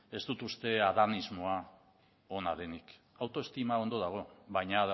ez dut uste adanismoa ona denik autoestima ondo dago baina